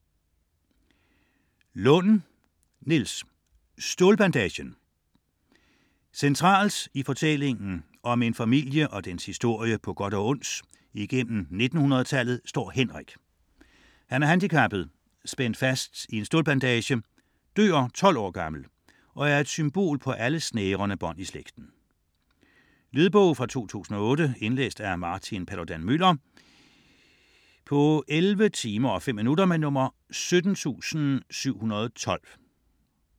Lund, Niels: Stålbandagen Centralt i fortællingen om en familie og dens historie på godt og ondt igennem 1900-tallet står Henrik. Han er handicappet, spændt fast i en stålbandage, dør 12 år gammel og er et symbol på alle snærende bånd i slægten. Lydbog 17712 Indlæst af Martin Paludan-Müller, 2008. Spilletid: 11 timer, 5 minutter.